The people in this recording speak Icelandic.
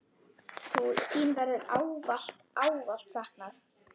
Þín verður ávallt, ávallt saknað.